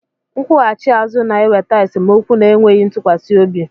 Nkwughachi azu na-eweta esemokwu na enweghị ntụkwasị obi